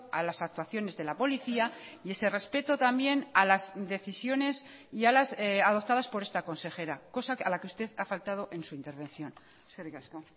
a las actuaciones de la policía y ese respeto también a las decisiones y a las adoptadas por esta consejera cosa a la que usted ha faltado en su intervención eskerrik asko